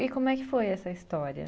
E como é que foi essa história?